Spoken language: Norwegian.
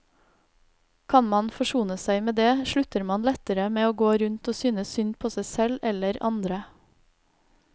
Kan man forsone seg med det, slutter man lettere med å gå rundt og synes synd på seg selv eller andre.